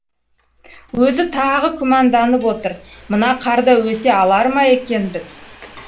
өзі тағы күмәнданып отыр мына қарда өте алар ма екенбіз